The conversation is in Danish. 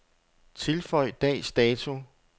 Tilføj dags dato.